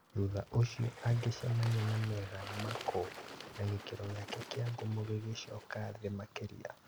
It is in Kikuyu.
Thutha ũcio agĩcemania na Meghan Markle, na gĩkĩro gĩake kĩa ngumo gĩgĩcoka thĩ makĩria